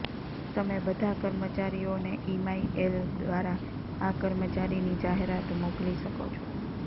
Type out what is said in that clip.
તમે બધા કર્મચારીઓને ઇમાઇ એલ દ્વારા આ કર્મચારીની જાહેરાત મોકલી શકો છો